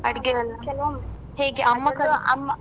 ಆಡುಗೆಯೆಲ್ಲಾ